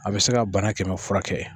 A bɛ se ka bana kɛmɛ furakɛ